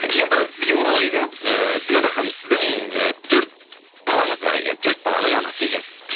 енді сізге оралайық иә ііі динара ханым сіздің ы төрт балаңыз бар екен төрт баланың анасы екенсіз